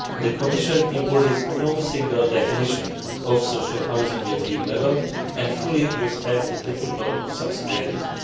The Commission imposes no single definition of social housing at EU level and fully respects the principle of subsidiarity.